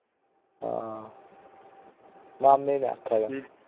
ਹਾਂ ਮਾਮੇ ਨੇ ਆਖਿਆ